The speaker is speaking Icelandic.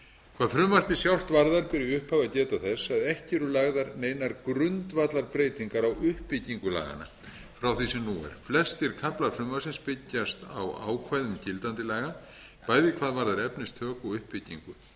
hvað frumvarpið sjálft varðar ber í upphafi að geta þess að ekki eru lagðar neinar grundvallarbreytingar í uppbyggingu laganna frá því sem nú er flestir kaflar frumvarpsins byggjast á ákvæðum gildandi laga bæði hvað verðar efnistök og uppbyggingu ekki eru heldur